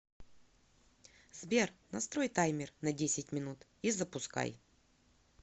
сбер настрой таймер на десять минут и запускай